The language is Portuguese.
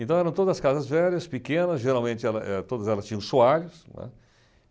Então eram todas casas velhas, pequenas, geralmente ela eh todas elas tinham soalhos, né.